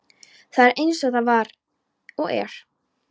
Það er eins og það er og var.